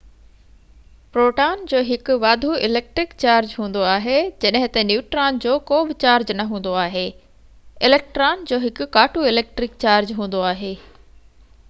proton جو هڪ واڌو اليڪٽرڪ چارج هوندو آهي جڏهن تہ نيوٽران جو ڪو بہ چارج نہ هوندو آهي اليڪٽران جو هڪ ڪاٽو اليڪٽرڪ چارج هوندو آهي